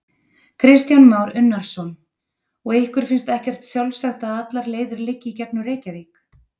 Kristján Már Unnarsson: Og ykkur finnst ekkert sjálfsagt að allar leiðir liggi í gegnum Reykjavík?